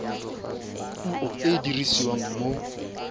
puo e e dirisiwang mo